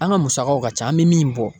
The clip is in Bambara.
An ka musakaw ka ca an bi min bɔ.